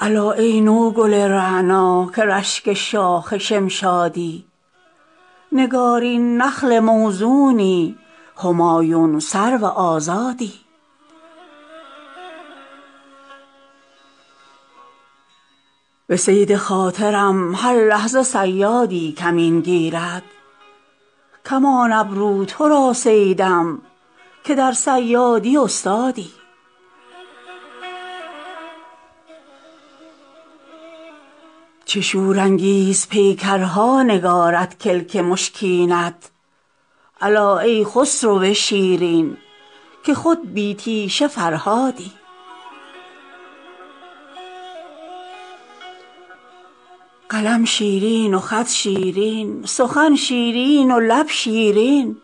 الا ای نوگل رعنا که رشک شاخ شمشادی نگارین نخل موزونی همایون سرو آزادی عروس بخت ما را ماه در آیینه می رقصد که شمع حجله می خندد به روی چون تو دامادی من این پیرانه سر تاجی که دارم با تو خواهم داد که از بخت جوان با دولت طبع خدادادی به صید خاطرم هر لحظه صیادی کمین گیرد کمان ابرو تو را صیدم که در صیادی استادی چه شورانگیز پیکرها نگارد کلک مشکینت الا ای خسرو شیرین که خود بی تیشه فرهادی قلم شیرین و خط شیرین سخن شیرین و لب شیرین